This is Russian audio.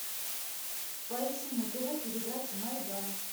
поищи на тв передачу майдан